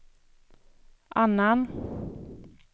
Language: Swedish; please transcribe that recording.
annan